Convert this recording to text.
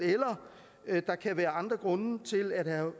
eller der kan være andre grunde til at herre